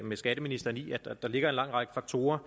med skatteministeren i at der ligger en lang række faktorer